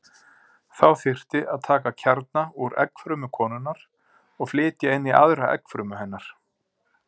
Þá þyrfti að taka kjarna úr eggfrumu konunnar og flytja inn í aðra eggfrumu hennar.